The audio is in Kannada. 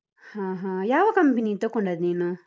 ಹಾ ಹಾ ಯಾವ company ತಕೊಂಡದ್ ನೀನು?